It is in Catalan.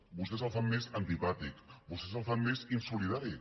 vostès el fan més antipàtic vostès el fan més insolidari